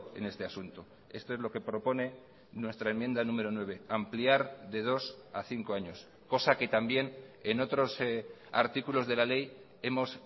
en este asunto esto es lo que propone nuestra enmienda número nueve ampliar de dos a cinco años cosa que también en otros artículos de la ley hemos